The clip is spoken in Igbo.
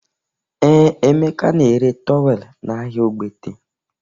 Ee, Emeka na-ere towel n'ahịa Ogbete